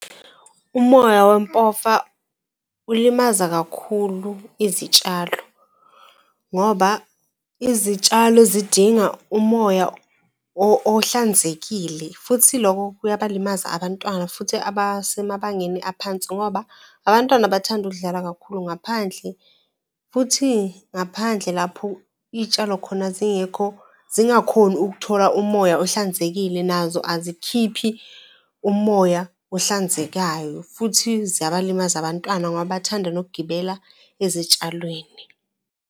Umoya wempofa ulimaza kakhulu izitshalo ngoba izitshalo zidinga umoya ohlanzekile, futhi lokho kuyabalimaza abantwana futhi abasemabangeni aphansi ngoba abantwana bathanda ukudlala kakhulu ngaphandle. Futhi ngaphandle lapho iy'tshalo khona zingekho, zingakhoni ukuthola umoya ohlanzekile nazo azikhiphi umoya ohlanzekayo, futhi ziyabalimaza abantwana ngoba bathanda nokugibela ezitshalweni.